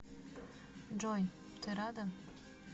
джой ты рада